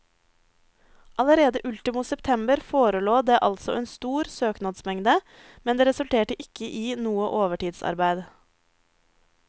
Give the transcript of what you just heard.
Allerede ultimo september forelå det altså en stor søknadsmengde, men det resulterte ikke i noe overtidsarbeid.